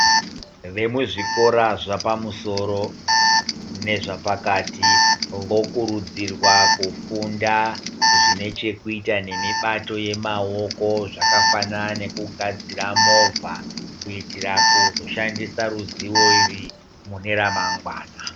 Vemuzvikora zvapamusoro nezvapakati vokurudzirwa kufunda zvinechekuita nemibato yemaoko zvakafanana nekugadzira movha kuitira kuzoshandisa ruzivo iri mune ramangwana.